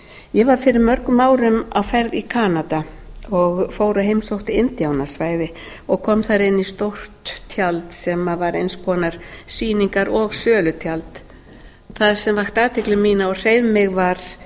ég var fyrir mörgum árum á ferð í kanada og fór og heimsótti indíánasvæði og kom þar inn í stórt tjald sem var eins konar sýningar og sölutjald það sem vakti athygli mína og hreif mig var